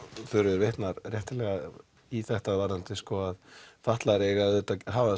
Þuríður vitnar réttilega í þetta varðandi að fatlaðir eiga auðvitað að hafa